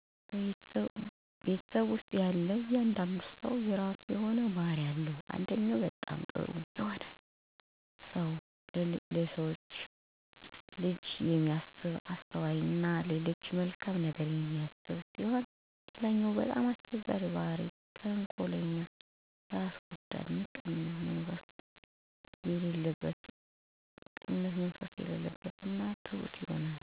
ቤተሰብ ውስጥ ያለ እያንዳንዱ ሰው የረሱ የሆነ ባህሪ አለው አንደኛው በጣም ጥሩ የሆነ ለሰው ልጅ የሚያስብ አስተዋይ እና ለሌሎች መልካም ነገር የሚያስብ ሲሆን ሌለኛው በጣም አስቸጋሪ ባህሪ ተንኮለኛ እና ራስ ወዳድ ምቀኝነት መንፈስ የለበት እና ሁሌም ክፉ ነገር የሚያደርግ ነው